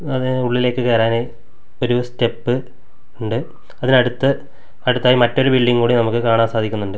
അത് ഉള്ളിലേക്ക് കേറാൻ ഒരു സ്റ്റെപ്പ് ഉണ്ട് അതിനടുത്ത് അടുത്തായി മറ്റൊരു ബിൽഡിംഗ് കൂടി നമുക്ക് കാണാൻ സാധിക്കുന്നുണ്ട്.